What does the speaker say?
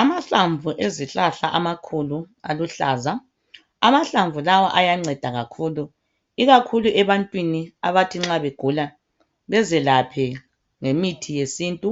Amahlamvu ezihlahla amakhulu aluhlaza. Amahlamvu lawa ayanceda kakhulu ikakhulu ebantwini abathi nxa begula bezelaphe ngemithi yesintu.